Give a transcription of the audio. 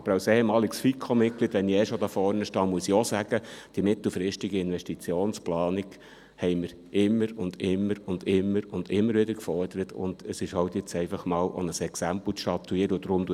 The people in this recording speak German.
Aber als ehemaliges FiKo-Mitglied muss ich auch sagen, dass wir die mittelfristige Investitionsplanung immer und immer wieder gefordert haben und dass jetzt einfach mal ein Exempel statuiert werden muss.